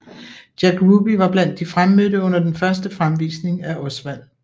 Jack Ruby var blandt de fremmødte under den første fremvisning af Oswald